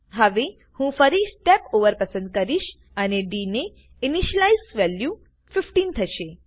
હવે હું ફરી સ્ટેપ ઓવર પસંદ કરીશ અને ડી ની ઈનીશીલાઈઝડ વેલ્યુ 15 થશે